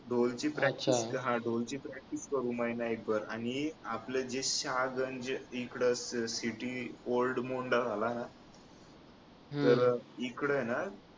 ढोलची practice ढोलची practice करू एक महिनाभर आणि जे आपलं शाहज आणि इकडं city old मुंडा झाला तर इकडं आहे ना